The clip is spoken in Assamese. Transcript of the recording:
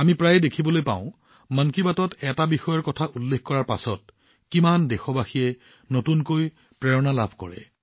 আমি প্ৰায়ে দেখিবলৈ পাওঁ যে মন কী বাতত এটা বিষয়ৰ কথা উল্লেখ কৰাৰ পিছত কিমান দেশবাসীয়ে নতুন প্ৰেৰণা লাভ কৰিছিল